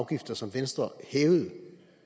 afgifter som venstre hævede